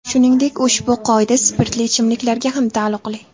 Shuningdek, ushbu qoida spirtli ichimliklarga ham taalluqli.